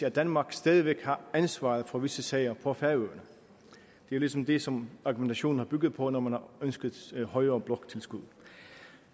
at danmark stadig væk har ansvaret for visse sager på færøerne det er ligesom det som argumentation har bygget på når man har ønsket højere bloktilskud